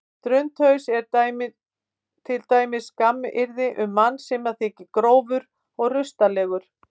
Drundhaus er til dæmis skammaryrði um mann sem þykir grófur og rustalegur.